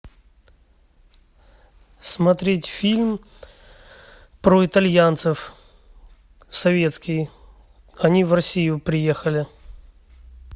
смотреть фильм про итальянцев советский они в россию приехали